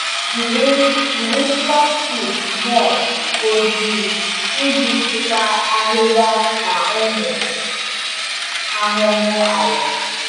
Jiri Jiri plastic mulch ojii iji chịkwaa ahịhịa na ụmụ ahụhụ ala.